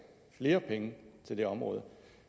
flere penge til det område